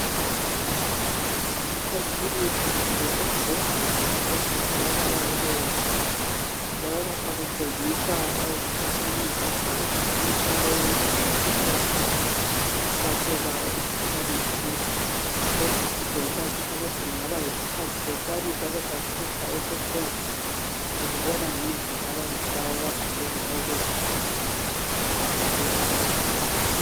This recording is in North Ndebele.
Kusekilinika kumbe esibhedlela esitholakala kuleyo ndawo. Njalo lapha kutshengisa ukuthi umuntu lowu isigulane siyahlatshwa uhlatshelwa umkhuhlani thize. Lokhu kutshengisa futhi ukuthi kungabe yisisikhathi lesiyana esake sahlupha ese COVID. Sikubona ngendlela abantu laba abagqoke ngayo bezivikele begqoke ama mask.